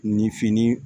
Nin fini